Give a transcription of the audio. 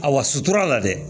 A wa sutura la dɛ